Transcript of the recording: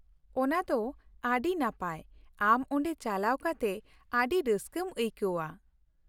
ᱚᱱᱟ ᱫᱚ ᱟᱹᱰᱤ ᱱᱟᱯᱟᱭ; ᱟᱢ ᱚᱸᱰᱮ ᱪᱟᱞᱟᱣ ᱠᱟᱛᱮ ᱟᱹᱰᱤ ᱨᱟᱹᱥᱠᱟᱹᱢ ᱟᱹᱭᱠᱟᱹᱣᱼᱟ ᱾